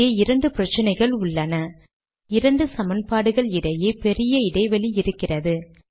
இங்கே இரண்டு பிரச்சினைகள் உள்ளனஇரண்டு சமன்பாடுகள் இடையே பெரிய இடைவெளி இருக்கிறது